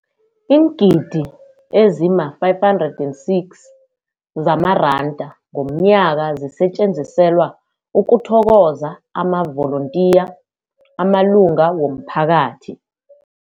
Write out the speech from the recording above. Iingidi ezima-576 zamaranda ngomnyaka zisetjenziselwa ukuthokoza amavolontiya amalunga womphakathi.